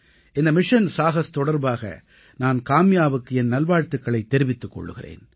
இந்த மிஷன் சாஹஸ் தொடர்பாக நான் காம்யாவுக்கு என் நல்வாழ்த்துக்களைத் தெரிவித்துக் கொள்கிறேன்